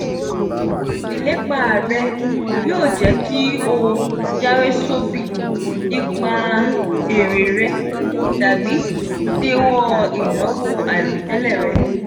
ilepa re yoo je ki o jawesobi nipa ere re tabi dewo inawo airotele re.